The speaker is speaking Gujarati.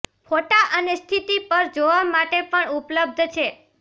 ફોટા અને સ્થિતિ પર જોવા માટે પણ ઉપલબ્ધ છે